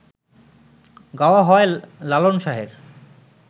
গাওয়া হয় লালন শাহের